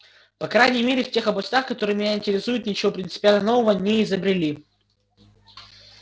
по крайней мере в тех областях которые меня интересуют ничего принципиально нового не изобрели